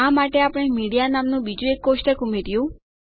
આ માટે આપણે મીડિયા નામનું બીજું એક કોષ્ટક ઉમેર્યું